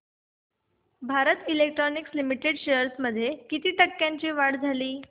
Bharat electronics limited shares मध्ये किती टक्क्यांची वाढ झाली